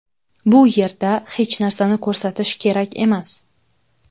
Bu yerda hech narsani ko‘rsatish kerak emas.